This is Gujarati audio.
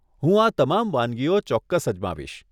હું આ તમામ વાનગીઓ ચોક્કસ અજમાવીશ.